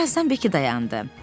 Bir azdan Bekki dayandı.